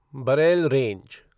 Barail range